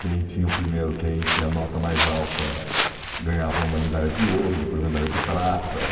Quem tinha o primeiro quem tinha a nota mais alta ganhava uma medalha de ouro, depois medalha de prata.